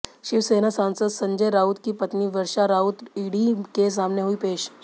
शिवसेना सांसद संजय राउत की पत्नी वर्षा राउत ईडी के सामने हुईं पेश